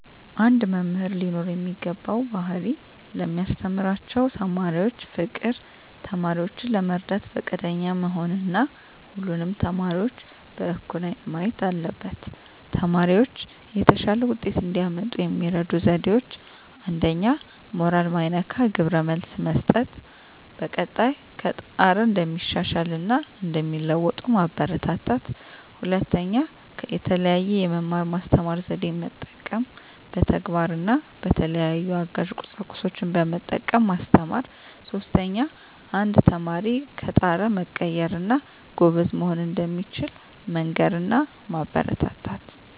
አንድ መምህር ሊኖረው የሚገባው ባህሪ ለሚያስተምራቸው ተማሪዎች ፍቅር፣ ተማሪዎችን ለመርዳት ፈቃደኛ መሆን እና ሁሉንም ተማሪዎች በእኩል አይን ማየት አለበት። ተማሪዎች የተሻለ ውጤት እንዲያመጡ የሚረዱ ዜዴዎች 1ኛ. ሞራል ማይነካ ግብረ መልስ መስጠት፣ በቀጣይ ከጣረ እንደሚሻሻል እና እንደሚለዎጡ ማበራታታት። 2ኛ. የተለየ የመማር ማስተማር ዜዴን መጠቀም፣ በተግባር እና በተለያዩ አጋዥ ቁሳቁሶችን በመጠቀም ማስተማር። 3ኛ. አንድ ተማሪ ከጣረ መቀየር እና ጎበዝ መሆን እንደሚችል መንገር እና ማበረታታት።